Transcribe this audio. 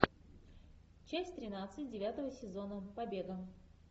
часть тринадцать девятого сезона побега